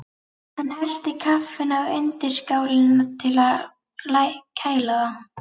Hann hellti kaffinu á undirskálina til að kæla það.